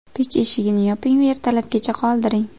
Pech eshigini yoping va ertalabgacha qoldiring.